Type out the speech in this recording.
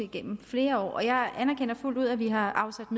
gennem flere år jeg anerkender fuldt ud at vi har afsat